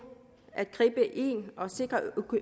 at gribe ind og sikre